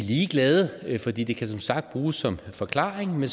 ligeglade fordi det kan som sagt bruges som forklaring men